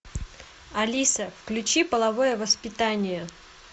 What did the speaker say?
алиса включи половое воспитание